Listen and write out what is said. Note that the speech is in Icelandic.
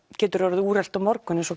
getur orðið úrelt á morgun eins og